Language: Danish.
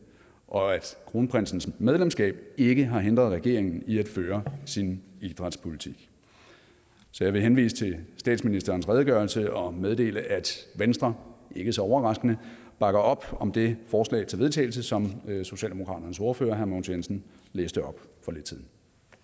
og at kronprinsens medlemskab ikke har hindret regeringen i at føre sin idrætspolitik så jeg vil henvise til statsministerens redegørelse og meddele at venstre ikke så overraskende bakker op om det forslag til vedtagelse som socialdemokratiets ordfører herre mogens jensen læste op